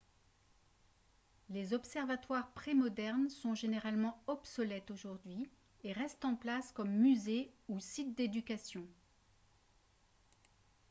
les observatoires prémodernes sont généralement obsolètes aujourd'hui et restent en place comme musées ou sites d'éducation